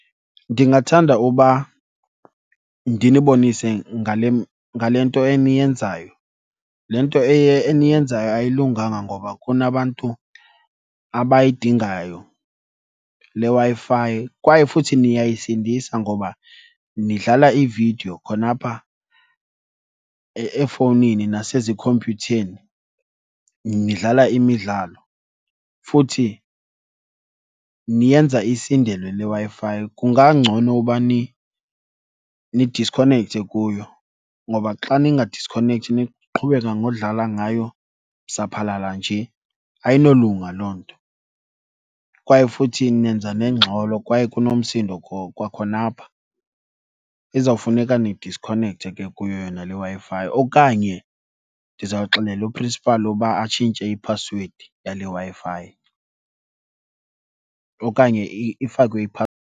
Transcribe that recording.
Ndingathanda uba ndinibonise ngale , ngale nto eniyenzayo. Le nto eniyenzayo ayilunganga ngoba kunabantu abayidingayo le Wi-Fi kwaye futhi niyayisindisa ngoba nidlala iividiyo khona apha efowunini nasezikhompyutheni. Nidlala imidlalo futhi niyenza isindelwe le Wi-Fi. Kungangcono uba nidiskhonekthe kuyo ngoba xa ningadiskhonekthi niqhubeka ngodlala ngayo saphalala nje ayinolunga loo nto. Kwaye futhi nenza nengxolo kwaye kunomsindo kwakhona apha. Izawufuneka nidiskhonekthe ke kuyo yona le Wi-Fi okanye ndizawuxelela uprinsipali uba atshintshe iphasiwedi yale Wi-Fi okanye ifakwe .